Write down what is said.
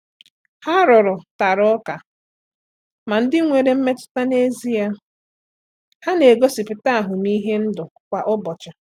Ha rụrụ tara ụka ma ndị nwere mmetụta n’ezie ha na-egosipụta ahụmịhe ndụ kwa ụbọchị.